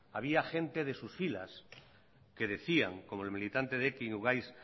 había gente de sus filas que decían como el militante de ekin ugaitz